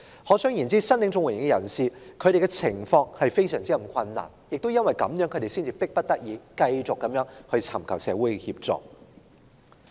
可想而知，申領綜援的人士的情況非常困難，而他們亦是因此才迫不得已繼續尋求社會協助。